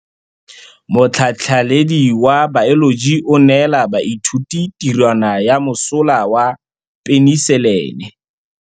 Motlhatlhaledi wa baeloji o neela baithuti tirwana ya mosola wa peniselene.